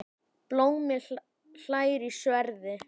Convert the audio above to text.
Blómi hlær í sverði.